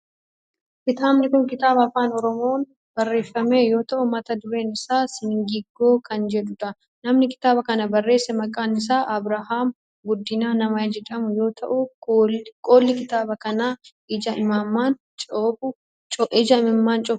Kitaabni kun kitaaba afaan oromoon barreeffame yoo ta'u mata dureen isaa singiggoo kan jedhudha. Namni kitaaba kana barreesse maqaan isaa Abrahaam Guddinaa nama jedhamu yoo ta'u qolli kitaaba kanaa ija imimmaan cobsu of irraa qaba.